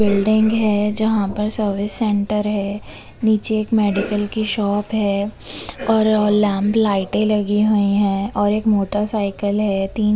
Building है जहाँ पर सर्विस सेंटर है |नीचे एक मेडिकल की शॉप है और लैंप लाइटें लगी हुई है और एक मोटरसाइकल है। तीन---